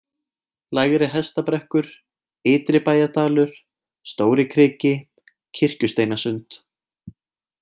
Lægri-Hestabrekkur, Ytri-Bæjardalur, Stórikriki, Kirkjusteinasund